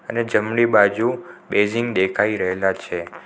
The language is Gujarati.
અને જમણી બાજુ બેઝિંગ દેખાઈ રહેલા છે.